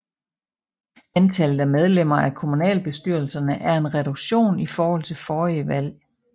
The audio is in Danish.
Antallet af medlemmer af kommunalbestyrelserne er en reduktion i forhold til forrige valg